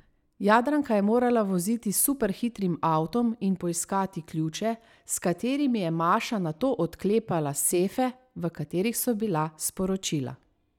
Jadranka je morala voziti s superhitrim avtom in poiskati ključe, s katerimi je Maša nato odklepala sefe, v katerih so bila sporočila.